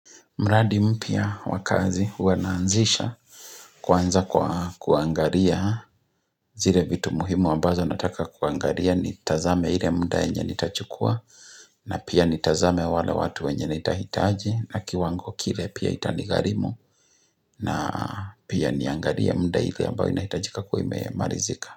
Mradi mpya wa kazi huwa naanzisha kwanza kwa kuangalia zile vitu muhimu ambazo nataka kuangalia nitazame ile muda yenye nitachukua na pia nitazame wale watu wenye nitahitaji na kiwango kile pia itanigharimu na pia niangalie muda ile ambao inahitajika kuwa imemalizika.